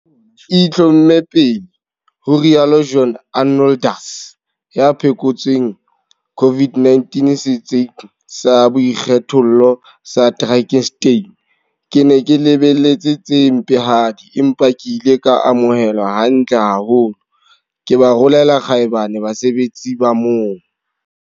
E itlhomme pele, ho rialo John Arnoldus, ya phekotsweng COVID-19 setsing sa boikgethollo se Drakenstein. Ke ne ke lebeletse tse mpehadi, empa ke ile ka amohelwa hantle haholo. Ke ba rolela kgaebane basebetsi ba moo!